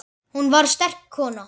Hún var sterk kona.